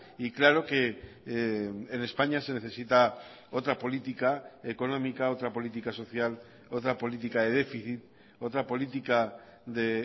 y claro que en españa se necesita otra política económica otra política social otra política de déficit otra política de